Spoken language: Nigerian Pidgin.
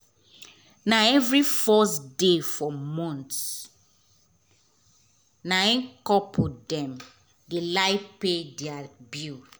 na every first day for month um na hin couple dem dey like pay deir bill